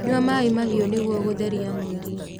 Nyua maĩ mahiũ nĩguo gũtherĩa mwĩrĩ